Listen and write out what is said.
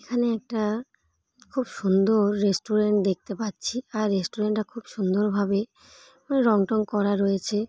এখানে একটা খুব সুন্দর রেস্টুরেন্ট দেখতে পাচ্ছি আর রেস্টুরেন্ট -টা খুব সুন্দরভাবে ওই রং টং করা রয়েছে ।